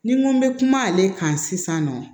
Ni n ko n bɛ kuma ale kan sisan nɔ